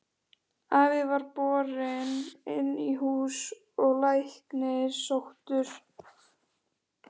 Afi var borinn inn í hús og læknir sóttur.